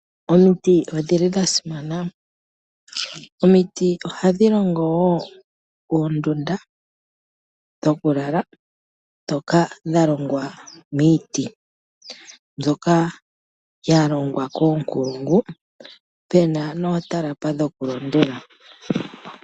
Omiti odhili dha simana. Omiti ohadhi longowo oondunda dhoku lala ndhoka dha longwa miiti ndhoka dha longwa koonkulungu pena nootalapa dhoku londela.